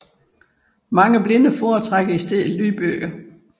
Mange blinde foretrækker i stedet lydbøger